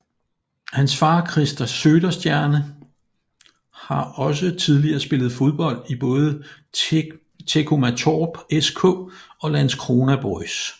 Hans far Christer Söderstjerna har også tidligere spillet fodbold i både Teckomatorp SK og Landskrona BoIS